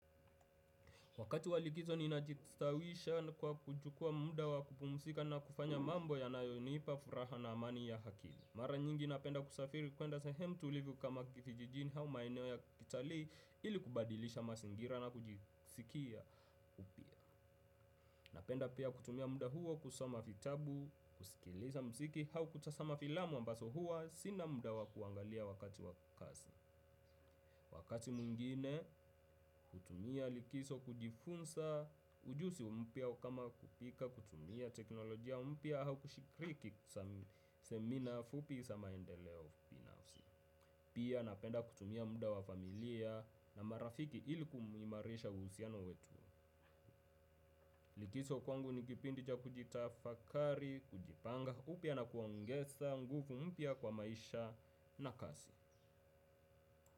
Wakati wa likizo ninajistawisha kwa kuchukua muda wa kupumzika na kufanya mambo yanayonipa furaha na amani ya akili. Mara nyingi napenda kusafiri kwenda sahemu tulivu kama kijijini ama maeneo ya kitalii ili kubadilisha mazingira na kujisikia upya. Napenda pia kutumia muda huo kusama vitabu, kusikiliza mziki au kutazama filamu ambazo hua sina muda wa kuangalia wakati wa kazi. Wakati mwingine hutumia likizo kujifunza ujuzi mpya kama kupika kutumia teknolojia mpya au kushiriki semina fupi za maendeleo ubinafsi. Pia napenda kutumia muda wa familia na marafiki ili kuimarisha uhusiano wetu. Likizo kwangu ni kipindi cha kujitafakari, kujipanga, upya na kuongeza nguvu mpya kwa maisha na kasi.